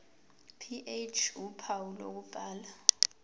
ph uphawu lokubhala